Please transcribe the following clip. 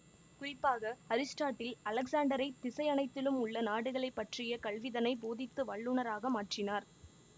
குறிப்பாக அரிஸ்டாட்டில் அலெக்சாண்டரை திசையனைத்திலும் உள்ள நாடுகளை பற்றிய கல்விதனை போதித்து வல்லுனராக மாற்றினார்